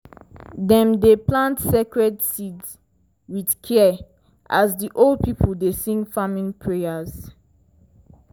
dem dey plant sacred seeds with care as di old people dey sing farming prayers.